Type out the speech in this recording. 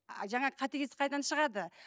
ы жаңа қатыгездік қайдан шығады